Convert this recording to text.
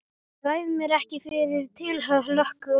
Ég ræð mér ekki fyrir tilhlökkun.